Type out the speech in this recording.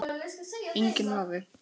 Erla: Enginn vafi?